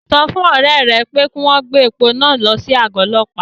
Sọ fún àwọn ọ̀rẹ́ ẹ pé kí wọ́n gbé epo náà lọ sí àgọ́ ọlọ́pàá